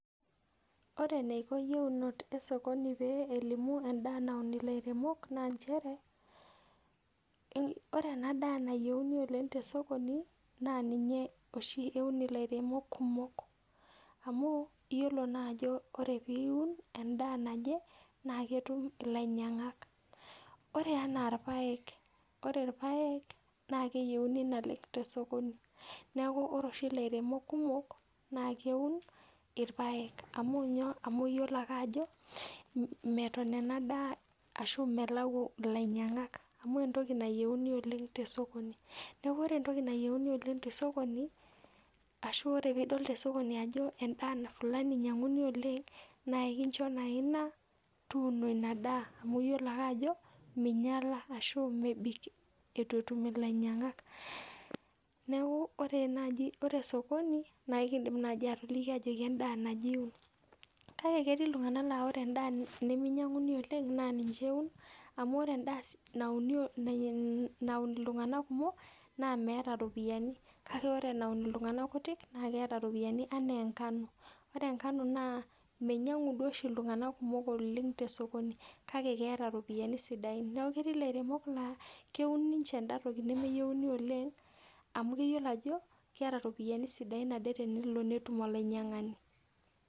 Ore enaiko iyieunot e sokoni pee elimu endaa naun ilairemok naa nchere ore ena daa nayieuni oleng te e sokoni naa ninye oshi eun illairemok kumok amuu iyiolo naa ajo ore piun endaa naje naa ketum ilainyangak ore enaa ilpaek ore ilpaek naa keyiouni naleng te e sokoni neeku ore oshi ilairemok kumok naa keun ilpaek amu kuyiolo ake ajo meton ena daa ashu melau ilainyangak amu entoki nayieuni oleng te e sokoni neeku ore ontoki nayieuni olleng te esokoni ashuu oree piidol te sokoni ajoo endaa fulani einyanguni oleng naa ekinchoo naa ina tuuno ina daa amu iyiolo ake ajo meinyala ashuu mebik itu etum ilainyangak , neeku ore esokoni naa ekiindim naai atoliki ajoki enda naaaje iwun , kake ketii iktunganak la oree nedaa nemeinyanguni oleng ninche eun amu ore enda naun iltunganak kumok naa meet iropiyiani kake oree enaun iltunganak kutii naa ketaa iropiyani enaa enkano oree enkano naa meinyangu duo oshi iltungana kumook oleng tesokoni kake keeta iropiyiani sidain netii ilairemok laa keun ninche enda tooki nemeinyanguni oleng amu keyiolo ajo keeta ropiyiani sidain ade tenelo netum olainyangani .